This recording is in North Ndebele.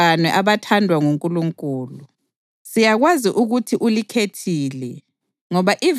Bazalwane abathandwa nguNkulunkulu, siyakwazi ukuthi ulikhethile